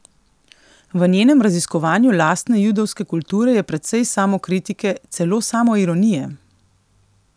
V njenem raziskovanju lastne judovske kulture je precej samokritike, celo samoironije.